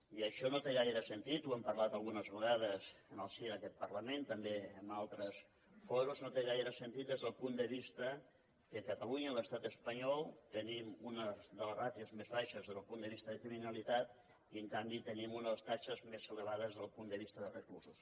i això no té gaire sentit n’hem parlat algunes vegades en el si d’aquest parlament també en altres fòrums no té gaire sentit des del punt de vista que a catalunya a l’estat espanyol tenim una de les ràtios més baixes des del punt de vista de criminalitat i en canvi tenim una de les taxes més elevades des del punt de vista de reclusos